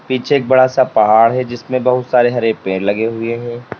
पीछे एक बड़ा सा पहाड़ है जिसमें बहुत सारे हरे पेड़ लगे हुए हैं।